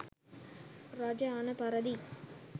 රජ අණ පරිදි